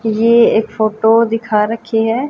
ये एक फोटो दिखा रखी है।